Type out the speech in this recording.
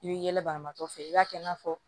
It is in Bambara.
I bi yɛlɛ banabaatɔ fɛ i b'a kɛ i n'a fɔ